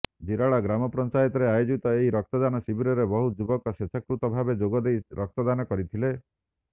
ଜିରାଳ ଗ୍ରାମପଞ୍ଚାୟତରେ ଆୟୋଜିତ ଏହି ରକ୍ତଦାନ ଶିବିରରେ ବହୁ ଯୁବକ ସ୍ୱେଚ୍ଛାକୃତ ଭାବେ ଯୋଗଦେଇ ରକ୍ତଦାନ କରିଥିଲେ